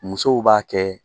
Musow b'a kɛ